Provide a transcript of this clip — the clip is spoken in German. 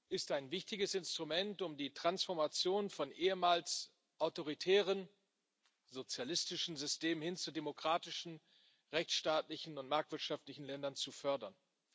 ist ein wichtiges Instrument, um die Transformation von ehemals autoritären, sozialistischen Systemen hin zu demokratischen, rechtsstaatlichen und marktwirtschaftlichen Ländern zu fördern.